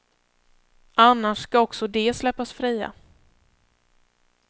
Annars skall också de släppas fria.